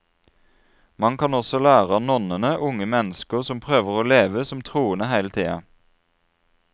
Man kan også lære av nonnene, unge mennesker som prøver å leve som troende hele tiden.